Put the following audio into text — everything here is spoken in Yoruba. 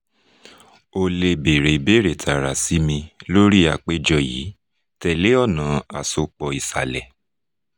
o le èèrè ìbéèrè tààrà sí mi lórí àpèjọ yìí tẹ̀lé ọ̀nà àsopọ̀ ìsàlẹ̀